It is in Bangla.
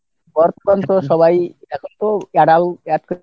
সবাই এখন তো adult তো আগের মতো আর entertainment হয় না।